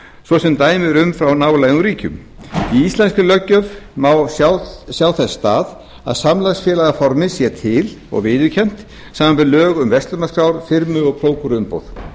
svo sem dæmi eru um frá nálægum ríkjum í íslenskri löggjöf má sjá þess stað að samlagsfélagaformið sé til og viðurkennt samanber lög um verslanaskrár firmu og prókúruumboð